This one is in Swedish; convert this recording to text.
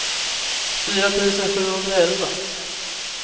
fyra tusen sjuhundraelva